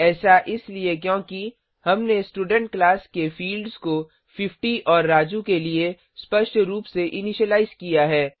ऐसा इसलिए क्योंकि हमने स्टूडेंट क्लास के फिल्ड्स को 50 और राजू के लिए स्पष्ट रूप से इनीशिलाइज किया है